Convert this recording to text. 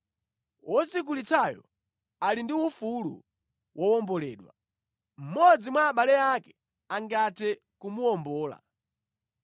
wodzigulitsayo ali ndi ufulu wowomboledwa. Mmodzi mwa abale ake angathe kumuwombola: